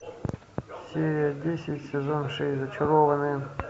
серия десять сезон шесть зачарованные